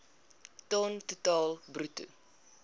ton totaal bruto